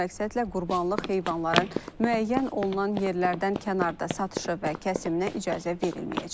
Bu məqsədlə qurbanlıq heyvanların müəyyən olunan yerlərdən kənarda satışı və kəsiminə icazə verilməyəcək.